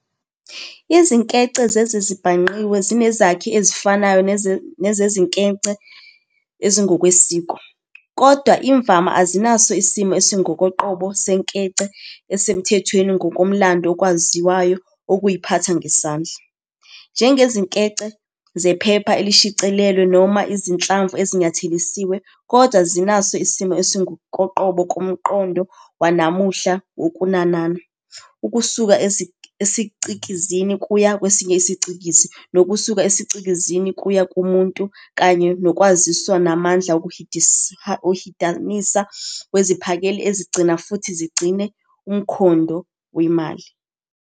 Izinkece zezezibhangqiwe zinezakhi ezifanayo nezezinkece ezingokwesiko, kodwa imvama azinas isimo esingokoqobo senkece esemthethweni ngokomlando okwaziyo okuyiphatha ngesandla, njengezinkece zephepha elishicilelwe noma izinhlamvu ezinyathelisiwe - kodwa zinaso isimo esingokoqobo ngomqondo wanamuhla wokunanana ukusuka esicikizini kuya kwesinye isicikizi nokusuka esicikizini kuya kumuntu kanye nokwaziswa namandla wokuhidanisa weziphakeli ezigcina futhi zigcine umkhondo wemali.